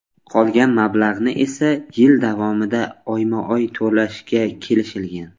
Qolgan mablag‘ni esa yil davomida oyma-oy to‘lashga kelishishgan.